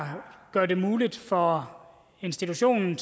her gør det muligt for institutionen